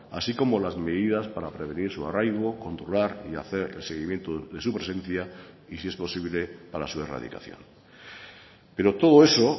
así como las medidas para prevenir su arraigo controlar y hacer el seguimiento de su presencia y si es posible para su erradicación pero todo eso